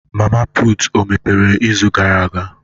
Mama putụ̀ o mepere izu gara aga?